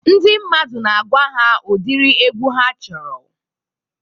Ndị mmadụ na-agwa ha ụdiri egwu ha chọrọ.